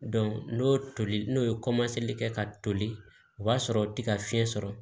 n'o toli n'o ye kɛ ka toli o b'a sɔrɔ tiga fiɲɛ sɔrɔ